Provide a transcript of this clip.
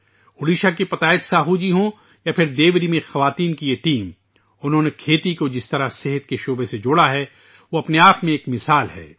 اوڈیشہ کے پتایت ساہو جی ہوں یا پھر دیوری میں خواتین کی یہ ٹیم ، انہوں نے زراعت کو صحت کے شعبے سے جس طرح جوڑا ہے وہ اپنے آپ میں ایک مثال ہے